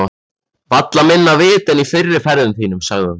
Varla minna vit en í fyrri ferðum þínum, sagði hún.